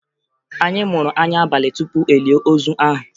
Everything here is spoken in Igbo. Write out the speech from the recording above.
Anyị muru anya abalị tupu e lie ozu ahụ